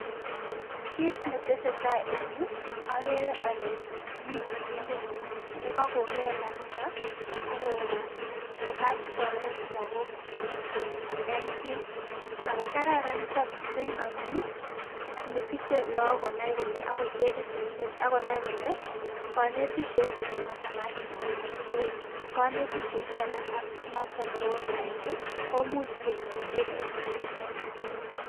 Kit netese tai enn yuu akere alee Mii sigindet nee kakongee kabiza akoo komach konet Lagok kyik enn bii, Ako Kararan nitok kot mising amun ii siche Lagok konai Lagok kole akotekis sigik akonai kole kanetisiet kityok koma lazima komi sukul konetisiet kora ak.noton ko naet Ii komuch kenyor enn ole miten.